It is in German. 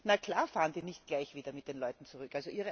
Na klar fahren die nicht gleich wieder mit den Leuten zurück!